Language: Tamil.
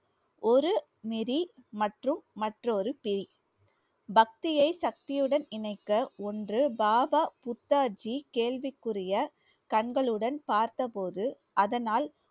ஒரு நெறி மற்றும் மற்றொரு பிரி பக்தியை சக்தியுடன் இணைக்க ஒன்று பாபா புத்தாஜி கேள்விக்குறிய கண்களுடன் பார்த்தபோது அதனால்